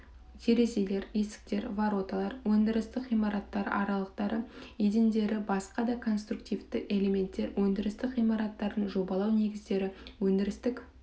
терезе есіктер вороталар өндірістік ғимараттар аралықтары едендері басқа да конструктивті элементтер өндірістік ғимараттардың жобалау негіздері өндірістік